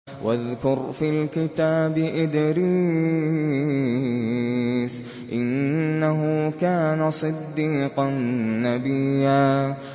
وَاذْكُرْ فِي الْكِتَابِ إِدْرِيسَ ۚ إِنَّهُ كَانَ صِدِّيقًا نَّبِيًّا